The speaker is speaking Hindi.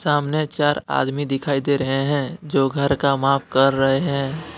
सामने चार आदमी दिखाई दे रहे हैं जो घर का माप कर रहे हैं।